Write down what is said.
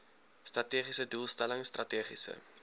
strategiese doelstelling strategiese